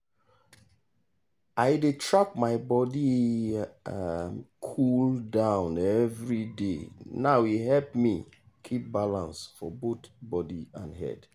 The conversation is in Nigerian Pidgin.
i dey track my body um cool-down every day now e help me keep balance for both body and head.